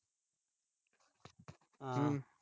ਹਾਂ।